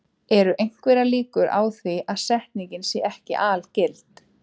Eru einhverjar líkur á því að setningin sé ekki algild?